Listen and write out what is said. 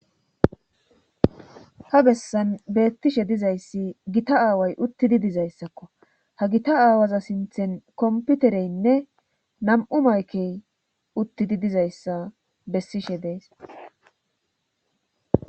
Ha bessan beettishe dizayssi gita aaway uttidi dizayssakko ha gita aawaza sinthen komputereynne nam'u maykey uttidi dizayssa bessishe dees